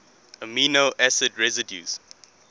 amino acid residues